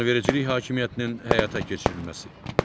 Qanunvericilik hakimiyyətinin həyata keçirilməsi.